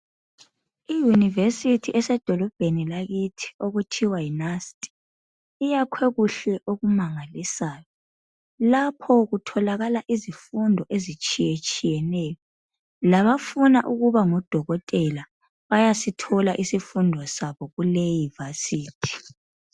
iYunivesithi esedolobheni lakithi okuthiwa yi NUST, iyakhwe kuhle okumangalisayo. Lapho kutholakala izifundo ezitshiyetshiyeneyo. Labafuna ukuba ngodokotela bayasithola isifundo sabo kuleyi Vasithi.